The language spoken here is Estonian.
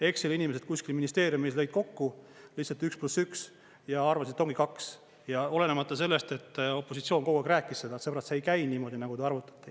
Exceli-inimesed kuskil ministeeriumis lõid kokku lihtsalt üks pluss üks ja arvasid, et ongi kaks, olenemata sellest, et opositsioon kogu aeg rääkis seda, et sõbrad, see ei käi niimoodi, nagu te arvutate.